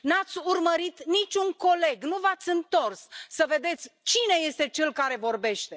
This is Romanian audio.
Nu ați urmărit nici un coleg, nu v ați întors să vedeți cine este cel care vorbește.